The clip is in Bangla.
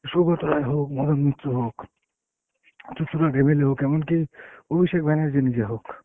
সৌগত রায় হোক, মদন মিত্র হোক, চুঁচুড়ার MLA হোক এমন কী অভিষেক ব্যানার্জী নিজে হোক।